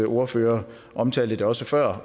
ordfører omtalte også før